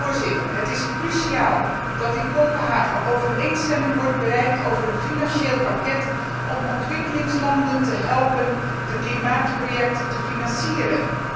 Voorzitter, het is cruciaal dat in Kopenhagen overeenstemming wordt bereikt over een financieel pakket om ontwikkelingslanden te helpen de klimaatprojecten te financieren.